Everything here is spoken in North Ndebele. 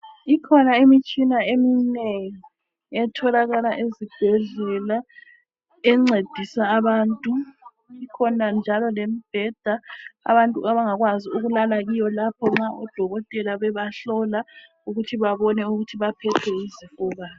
Ikhona imitshina eminengi etholakala ezibhedlela encedisa abantu kukhona njalo lembheda abantu abangakwazi ukulala kiyo lapho nxa udokotela bebahlola ukuthi babone ukuthi baphethwe yizifo bani.